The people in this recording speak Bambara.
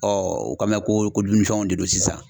o kan bɛ ko dumuni fɛnw de don sisan